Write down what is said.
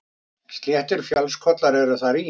Sléttir fjallskollar eru þar í